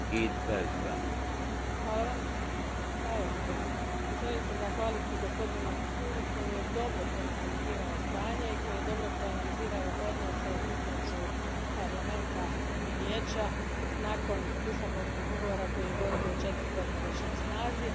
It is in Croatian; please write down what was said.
Gospodine predsjedniče, želim se zahvaliti gospodinu Lamassoureu koji je dobro proanalizirao stanje i koji je dobro proanalizirao odnose između Parlamenta i Vijeća nakon Lisabonskog ugovora koji je gotovo četiri godine već na snazi.